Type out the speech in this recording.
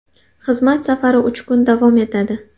Xizmat safari uch kun davom etadi.